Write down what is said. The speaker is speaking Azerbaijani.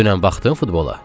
Dünən baxdın futbola?